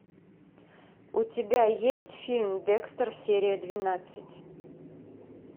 у тебя есть фильм декстер серия двенадцать